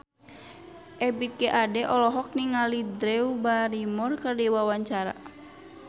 Ebith G. Ade olohok ningali Drew Barrymore keur diwawancara